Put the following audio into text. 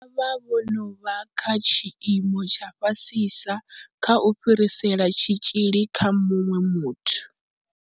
Vha vha vho no vha kha tshiimo tsha fhasisa kha u fhirisela tshitzhili kha muṅwe muthu.